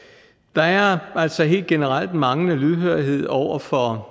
der er altså helt generelt manglende lydhørhed over for